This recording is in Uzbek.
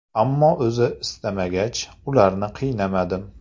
Ammo o‘zi istamagach, ularni qiynamadim.